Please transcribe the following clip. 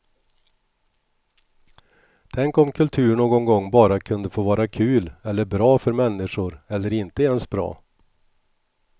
Tänk om kultur någon gång bara kunde få vara kul eller bra för människor eller inte ens bra.